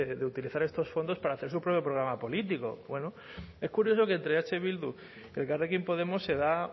de utilizar estos fondos para hacer su propio programa político bueno es curioso que entre eh bildu y elkarrekin podemos se da